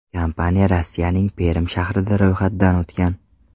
Kompaniya Rossiyaning Perm shahrida ro‘yxatdan o‘tgan.